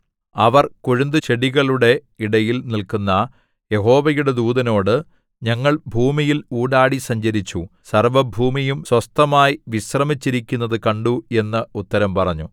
അവർ കൊഴുന്തുചെടികളുടെ ഇടയിൽ നില്ക്കുന്ന യഹോവയുടെ ദൂതനോട് ഞങ്ങൾ ഭൂമിയിൽ ഊടാടി സഞ്ചരിച്ചു സർവ്വഭൂമിയും സ്വസ്ഥമായി വിശ്രമിച്ചിരിക്കുന്നതു കണ്ടു എന്ന് ഉത്തരം പറഞ്ഞു